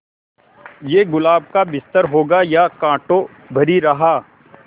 ये गुलाब का बिस्तर होगा या कांटों भरी राह